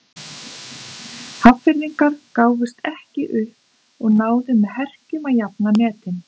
Hafnfirðingar gáfust ekki upp og náðu með herkjum að jafna metin.